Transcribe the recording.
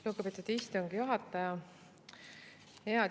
Lugupeetud istungi juhataja!